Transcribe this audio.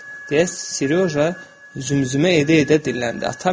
Deyə Siryoja zümzümə edə-edə dilləndi.